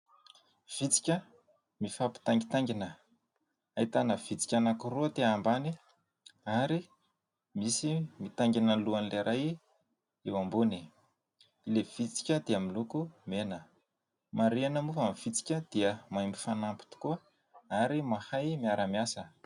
Vitsika mifampitaingitaingina. Ahitana vitsika anankiroa aty ambany, ary misy mitaingina lohan'ilay iray eo ambony. Ilay vitsika dia miloko mena. Marihina moa fa ny vitsika dia mahay mifanampy tokoa ary mahay miara miasa.